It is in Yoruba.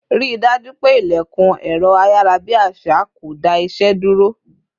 Rí dájú pé ilẹkun ẹrọ ayarabi àṣà kò dá ìṣe dúró